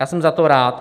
Já jsem za to rád.